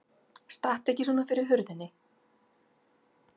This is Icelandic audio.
Stattu ekki svona fyrir hurðinni!